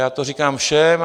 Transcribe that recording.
Já to říkám všem.